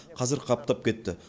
қазір қаптап кетті